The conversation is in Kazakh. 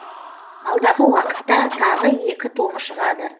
алдағы уақытта тағы екі томы шығады